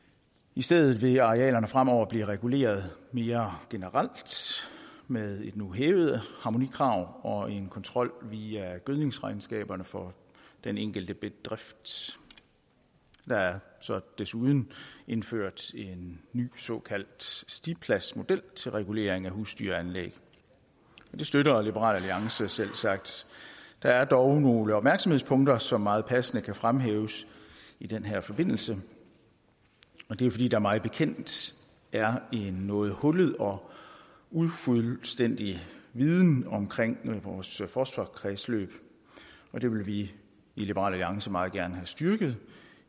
i stedet vil arealerne fremover blive reguleret mere generelt med et nu hævet harmonikrav og en kontrol via gødningsregnskaberne for den enkelte bedrift der er så desuden indført en ny såkaldt stipladsmodel til regulering af husdyranlæg det støtter liberal alliance selvsagt der er dog nogle opmærksomhedspunkter som meget passende kan fremhæves i den her forbindelse og det er fordi der mig bekendt er en noget hullet og ufuldstændig viden om vores fosforkredsløb og det vil vi i liberal alliance meget gerne have styrket